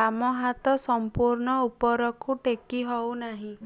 ବାମ ହାତ ସମ୍ପୂର୍ଣ ଉପରକୁ ଟେକି ହଉ ନାହିଁ